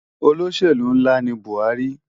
Ólóṣélú nlá ni Buari